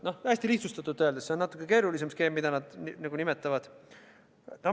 See oli hästi lihtsustatult öeldud, skeem ise on natukene keerulisem.